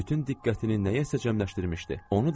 Bütün diqqətini nəyəsə cəmləşdirmişdi.